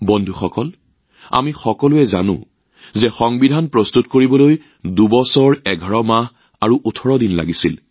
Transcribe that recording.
বন্ধুসকল আমি সকলোৱে জানো যে সংবিধান প্ৰস্তুত কৰিবলৈ ২ বছৰ ১১ মাহ ১৮ দিন সময় লাগিছিল